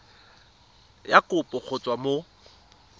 ya kopo go tswa mo